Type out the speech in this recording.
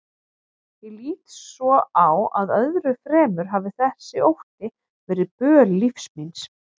Ég lít svo á að öðru fremur hafi þessi ótti verið böl lífs míns.